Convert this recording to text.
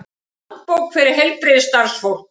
Handbók fyrir heilbrigðisstarfsfólk.